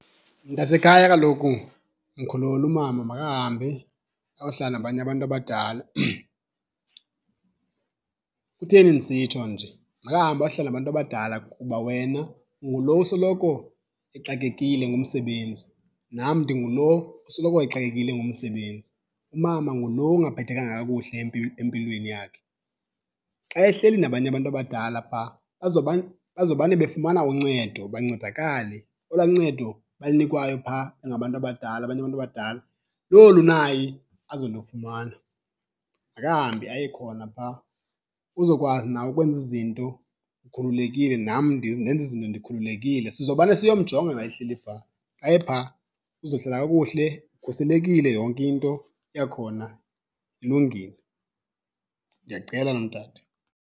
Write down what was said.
Mntasekhaya kaloku mkhulule umama makahambe ayohlala nabanye abantu abadala. Kutheni ndisitsho nje? Makahambe ayohlala nabantu abadala kuba wena ungulo usoloko exakekile ngumsebenzi, nam ndingulo usoloko exakekile ngumsebenzi. Umama ngulo ungaphathekanga kakuhle empilweni yakhe. Xa ehleli nabanye abantu abadala phaa bazomane befumana uncedo, bancedakale. Olwaa ncedo balunikwayo phaa bengabantu abadala abanye abantu abadala lolu naye azolufumana. Makahambe aye khona phaa uzokwazi nawe ukwenza izinto ukhululekile, nam ndenze izinto ndikhululekile. Sizomane siyomjonga xa ehleli phaa. Xa ephaa uzohlala kakuhle ukhuselekile yonke into yakhona ilungile. Ndiyacela nomdade.